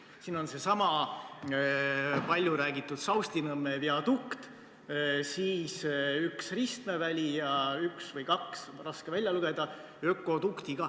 Siin on see palju räägitud Saustinõmme viadukt, siis üks ristmeväli ja lisaks üks või kaks – raske välja lugeda – ökodukti.